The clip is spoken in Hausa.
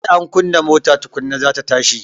Sai an kunna mota tukunna za ta tashi